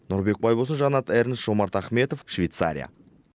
нұрбек байболсын жанат эрнст жомарт ахметов швецария